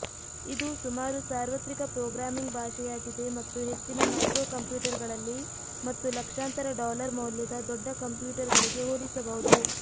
ಇದು ಸುಮಾರು ಸಾರ್ವತ್ರಿಕ ಪ್ರೋಗ್ರಾಮಿಂಗ್ ಭಾಷೆಯಾಗಿದೆ ಮತ್ತು ಹೆಚ್ಚಿನ ಮೈಕ್ರೊಕಂಪ್ಯೂಟರ್ಗಳಲ್ಲಿ ಮತ್ತು ಲಕ್ಷಾಂತರ ಡಾಲರ್ ಮೌಲ್ಯದ ದೊಡ್ಡ ಕಂಪ್ಯೂಟರ್ಗಳಿಗೆ ಹೋಲಿಸಬಹುದು